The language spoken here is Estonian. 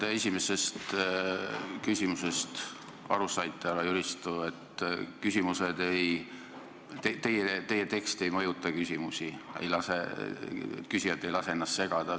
Nagu te esimesest küsimusest aru saite, härra Jüristo, siis teie tekst ei mõjuta küsimusi, küsijad ei lase ennast segada.